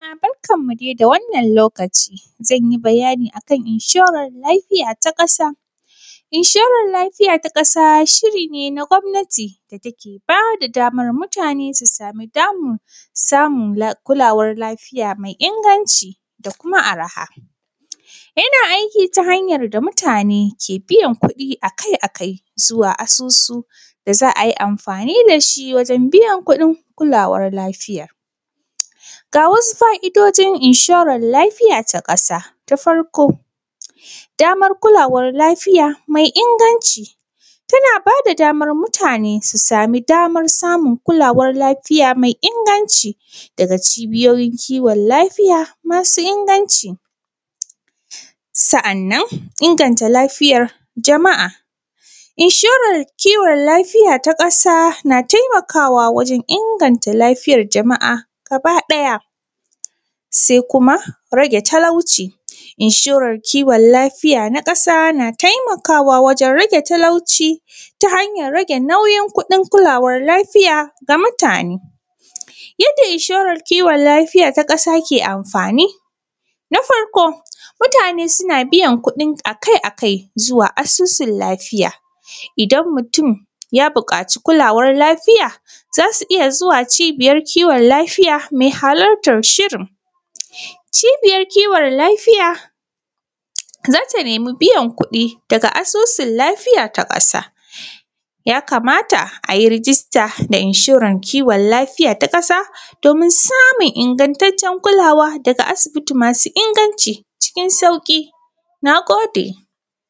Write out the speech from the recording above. Barkan mu dai da wannan lokaci zan yi bayani akan inshoran lafiya ta ƙasa. Inshoran lafiya ta ƙasa shi ne na gwamnati wanda ke ba da damar mutane su sami damammankin samun kulawar lafiya mai inganci da kuma arha, ina aiki da hanyan da mutane ke biyan kuɗi akai-akai zuwa asusu da za a yi amfani da shi wajen biyar kuɗin kulawar lafiya. Ga wasu fa’idojin kulawan inshora ta ƙasa: na farko damar kulawar war lafiya mai inganci daga cibiyoyin kiwon lafiya masu ingancci, sa’an nan inganta lafiyar jama’a inshorar kiwon lafiya ta ƙasa na taimakawa wajen inganta lafiyar jama’a gabaɗaya, se kuma rage talauci, inshoran kiwon lafiya ta ƙasa na taimakawa wajen rage talauci ta hanyan rage nauyin kuɗin kulawan lafiya na mutane. Yadda inshoran kiwon lafiya ta ƙasa ke amfani na farko mutane suna biyan kuɗin akai-akai wa asusun lafiya, idan mutum ya buƙaci kulawan lafiya za su iya zuwa cibiyan kiwon lafiya, me halartan shirin cibiyan kiwon lafiya za ta nemi biyar kuɗi daga asusun lafiya ta ƙasa, ya kamata a yi rijista da inshoran kiwon lafiya ta ƙasa domin samun ingattacen kulawa daga asibiti masu inganci cikin sauƙi. Na gode.